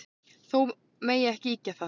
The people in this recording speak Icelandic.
Þó megi ekki ýkja það.